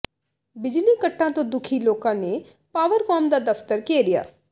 ਬਿਜਲੀ ਕੱਟਾਂ ਤੋਂ ਦੁਖੀ ਲੋਕਾਂ ਨੇ ਪਾਵਰਕੌਮ ਦਾ ਦਫਤਰ ਘੇਰਿਆ